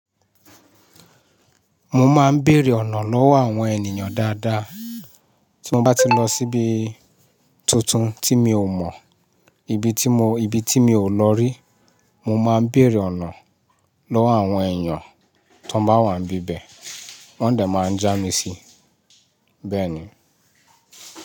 Mo máa ń bèèrè ọ̀nà lọ́wọ́ àwọn ènìyàn dáadáa. Tí mo bá ti lọ síbi tuntun tí mi ò mọ̀, ibi tí mo, ibi tí mi ò lọ rí, mo máa ń bèèrè ọ̀nà lọ́wọ́ àwọn èèyàn tó bá wà níbẹ̀. Wọ́n dẹ̀ máa ń já mi síì, bẹ́ẹ̀ ni.